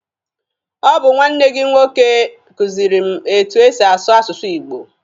Ọ bụ nwanne gị nwoke kuziri m etu e si asụ asụsụ Igbo.